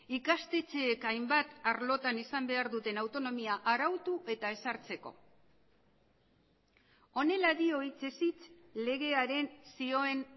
ikastetxeek hainbat arlotan izan behar duten autonomia arautu eta ezartzeko honela dio hitzez hitz legearen zioen